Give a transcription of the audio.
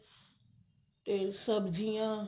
ਤੇ ਸਬਜੀਆਂ